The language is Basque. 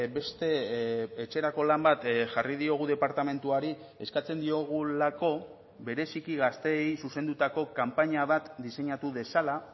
beste etxerako lan bat jarri diogu departamentuari eskatzen diogulako bereziki gazteei zuzendutako kanpaina bat diseinatu dezala